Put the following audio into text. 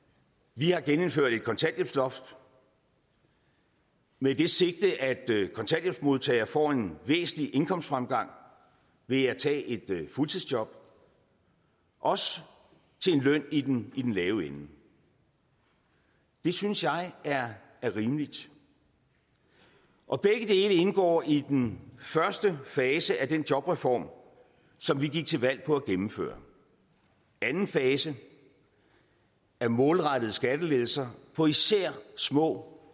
vi har genindført et kontanthjælpsloft med det sigte at kontanthjælpsmodtagere får en væsentlig indkomstfremgang ved at tage et fuldtidsjob også til en løn i den lave ende det synes jeg er rimeligt og begge dele indgår i den første fase af den jobreform som vi gik til valg på at gennemføre anden fase er målrettet skattelettelser på især små